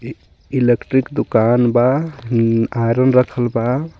इ इलेक्ट्रिक दुकान बा अ-आयरन रखल बा.